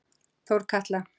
Þórkatla